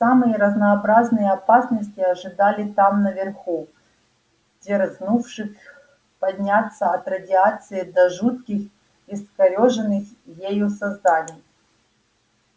самые разнообразные опасности ожидали там наверху дерзнувших подняться от радиации до жутких искорёженных ею созданий